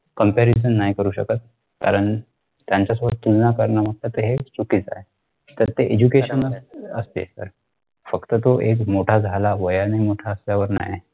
comparison नाही करू शकत कारण त्यांच्यासोबत तुलना करणे तर हे चुकीचा आहे तर ते education असते तर फक्त तो एक मोठा झाला वयाने मोठा असल्यावर नाही